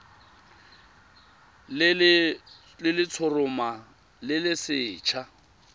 le letshoroma le le setlha